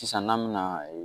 Sisan n'an bɛ na